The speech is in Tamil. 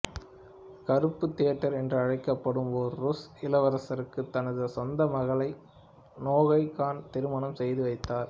கருப்பு தியோடர் என்று அழைக்கப்பட்ட ஒரு ருஸ் இளவரசருக்கு தனது சொந்த மகளை நோகை கான் திருமணம் செய்து வைத்தார்